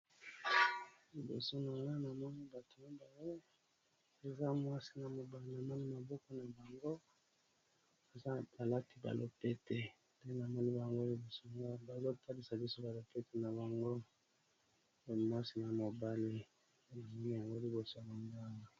Liboso nayo namoni bato yaba oyo eza mwasi na mobale namoni maboko na bango eza ba lati ba lopete pe namoni bango liboso naopelisa liso ba lopete na bango mwasi na mobale ya lifuli yango liboso ya mangamo.